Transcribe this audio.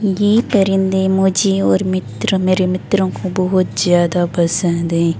ये परिंदे मुझे और मित्र मेरे मित्रों को बहुत ज्यादा पसंद हैं।